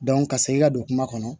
ka se i ka don kuma kɔnɔ